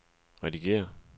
redigér